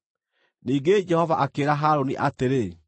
Ningĩ Jehova akĩĩra Harũni atĩrĩ,